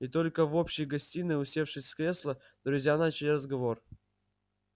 и только в общей гостиной усевшись в кресла друзья начали разговор